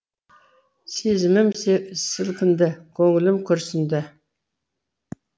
сезімім сілкінді көңілім күрсінді